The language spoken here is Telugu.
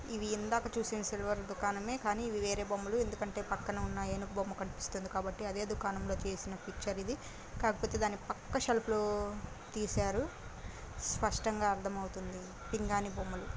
ఇవి ఇందాక చేసయిటీ సిల్వర్ దుకాణమే కానీ వేరే బొమ్మలు ఎందుకంటే పకన్నా ఉన్న ఏనుగు బొమ్మ కనిపిస్తుంది కాబట్టి అనే దుకాణమే లో తీసిన పిక్చర్ ఇది కాకపోతే దాని పక్కషెల్ఫ్ లో తీశారు సాష్టాంగ అర్థధమోతోంది పిఙ్గాని బొమ్మలు.